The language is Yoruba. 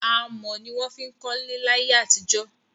Amọ̀ ni wón fiń kọ́lẹ́ láyẹ́ àti jó